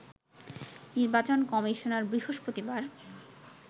নির্বাচন কমিশনার বৃহস্পতিবার